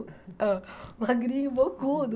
Hã Magrinho, bocudo.